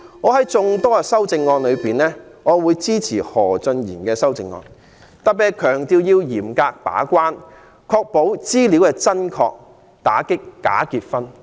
在眾多修正案中，我會支持何俊賢議員的修正案，特別是強調要嚴格把關，確保申請資料真確，打擊假結婚。